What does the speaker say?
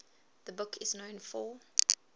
the book is known for